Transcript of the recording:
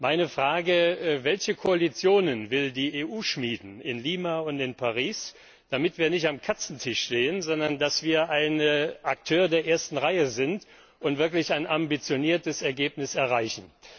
Meine Frage Welche Koalitionen will die EU in Lima und in Paris schmieden, damit wir nicht am Katzentisch stehen, sondern ein Akteur der ersten Reihe sind und wirklich ein ambitioniertes Ergebnis erreichen?